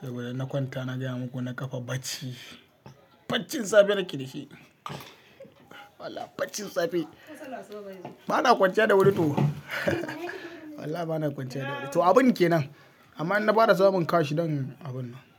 saboda in na kwanta na gaya maku na kafa bacci. Baccin safe nake da shi. Wallah baccin safe. Bana kwanciya da wuri to. Wallahi bana kwanciya da wuri to abun kenan. Amma in na bada samun kash zan abun nan.